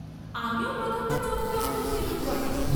আমিও প্রথমটা চমকে উঠেছিলুম বটে।